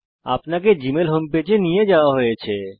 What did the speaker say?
আপনাকে Gmail home পেজে নিয়ে যাওয়া হয়েছে